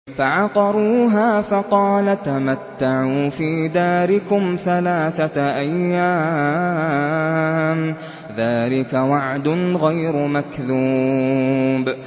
فَعَقَرُوهَا فَقَالَ تَمَتَّعُوا فِي دَارِكُمْ ثَلَاثَةَ أَيَّامٍ ۖ ذَٰلِكَ وَعْدٌ غَيْرُ مَكْذُوبٍ